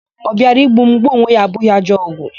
Ọ bịara igbu m, gbuo onwe ya abụghị ajọ ọgwụ.